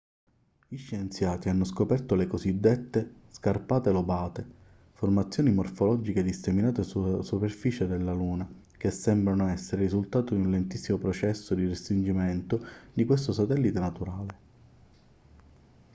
gli scienziati hanno scoperto le cosiddette scarpate lobate formazioni morfologiche disseminate sulla superficie della luna che sembrano essere il risultato di un lentissimo processo di restringimento di questo satellite naturale